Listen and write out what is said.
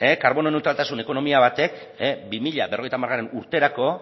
karbono neutraltasun ekonomia batek bi mila berrogeita hamarren urterako